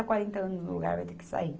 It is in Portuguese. A quarenta anos no lugar, vai ter que sair.